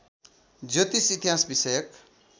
ज्योतिष इतिहास विषयक